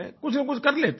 कुछनकुछ कर लेते हैं